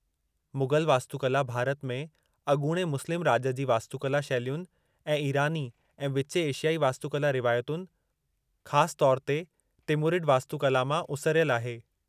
मुग़ल वास्तुकला भारत में अॻूणे मुस्लिम राॼ जी वास्तुकला शैलियुनि ऐं ईरानी ऐं विचें एशियाई वास्तुकला रिवायतुनि, ख़ासि तौर ते तिमुरिड वास्तुकला मां उसिरियल आहे।